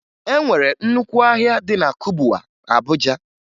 E nwere nnukwu ahịa dị na Kubwa, Abuja